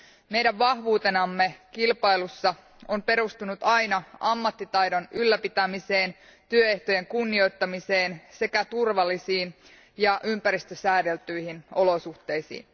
Meidän vahvuutemme kilpailussa on perustunut aina ammattitaidon ylläpitämiseen, työehtojen kunnioittamiseen sekä turvallisiin ja ympäristösäädeltyihin olosuhteisiin.